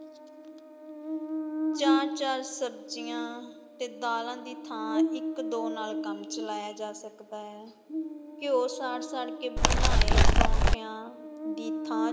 ਚਾਰ-ਚਾਰ ਸਬਜ਼ੀਆਂ ਤੇ ਦਾਲਾਂ ਦੀ ਥਾਂ ਇਕ-ਦੋ ਨਾਲ ਕੰਮ ਚਲਾਇਆ ਜਾ ਸਕਦਾ ਹੈ, ਘਿਓ ਸਾੜ-ਸਾੜ ਕੇ ਬਣਾਏ ਪਰੌਂਠਿਆ ਦੀ ਥਾਂ